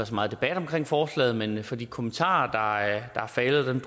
så meget debat omkring forslaget men jeg for de kommentarer